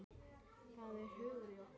Það er hugur í okkur.